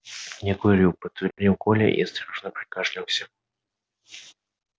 не курю подтвердил коля и осторожно прокашлялся